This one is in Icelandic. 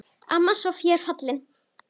Amma Soffía er fallin.